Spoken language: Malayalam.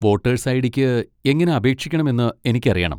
വോട്ടേഴ്സ് ഐ.ഡി.ക്ക് എങ്ങനെ അപേക്ഷിക്കണമെന്ന് എനിക്കറിയണം.